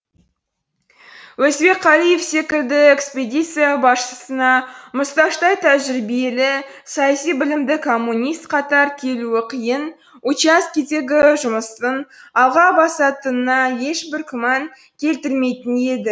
өзбекқалиев секілді экспедиция басшысына мұсташтай тәжірибелі саяси білімді коммунист қатар келуі қиын участкедегі жұмыстың алға басатынына ешбір күмән келтірмейтін еді